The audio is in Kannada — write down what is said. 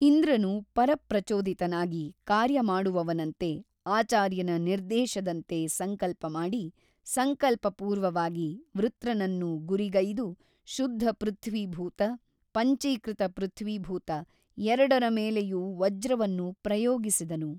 ಇಂದ್ರನು ಪರಪ್ರಚೋದಿತನಾಗಿ ಕಾರ್ಯಮಾಡುವವನಂತೆ ಆಚಾರ್ಯನ ನಿರ್ದೇಶದಂತೆ ಸಂಕಲ್ಪಮಾಡಿ ಸಂಕಲ್ಪಪೂರ್ವವಾಗಿ ವೃತ್ರನನ್ನು ಗುರಿಗೈದು ಶುದ್ಧ ಪೃಥ್ವೀಭೂತ ಪಂಚೀಕೃತ ಪೃಥ್ವೀಭೂತ ಎರಡರ ಮೇಲೆಯೂ ವಜ್ರವನ್ನು ಪ್ರಯೋಗಿಸಿದನು.